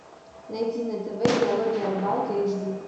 найти на тв диалоги о рыбалке эйч ди